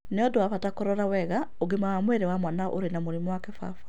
Nĩ ũndũ wa bata kũrora wega ũgima wa mwĩrĩ wa mwana ũrĩ na mũrimũ wa kĩbaba